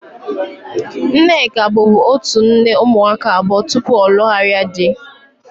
Nneka bubu otu nne ụmụaka abụọ tupu ọ lugharia dị